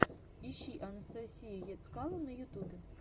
ищи анастасию ецкало на ютубе